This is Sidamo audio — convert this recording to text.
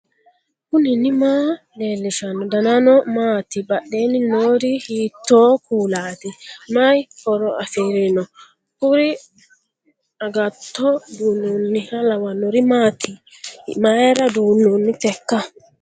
knuni maa leellishanno ? danano maati ? badheenni noori hiitto kuulaati ? mayi horo afirino ? kuri agatto duunnonniha lawannori maati mayra duunnooonniteikka